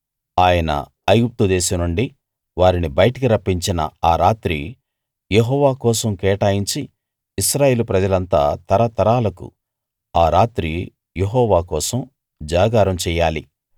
ఆయన ఐగుప్తు దేశం నుండి వారిని బయటికి రప్పించిన ఆ రాత్రి యెహోవా కోసం కేటాయించి ఇశ్రాయేలు ప్రజలంతా తరతరాలకూ ఆ రాత్రి యెహోవా కోసం జాగారం చెయ్యాలి